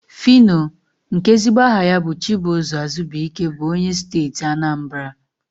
Fino, nke ezigbo aha ya bụ Chibụzọ Azubuike bụ onye Steeti Anambara.